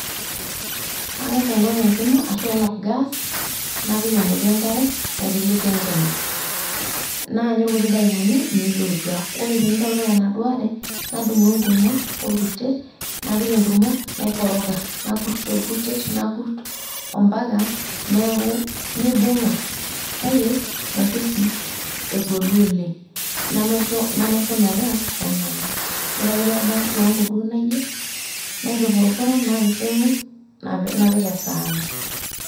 Ang'as ainok enkima ashu ainok gas napik emoti enkare, naiteleki enkima. Naanyu ilkuti dakikani meitutua, ore teneitokitok enaduo are, nadumu enkurma olkurtet, napik enkurma, naikoroga nakurt tolkurtet, nakurt ompaka neaku neibung'a, kake maisho sii egolu oleng nemaisho metaa kenana. Ore ake peebaya kiwango duo nayeu, naitupurupuran napising'u, napik esaani.